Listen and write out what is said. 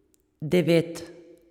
Devet.